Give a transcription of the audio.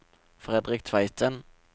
Fredrik Tveiten